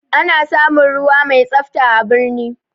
Ana samun ruwa mai tsafta a birni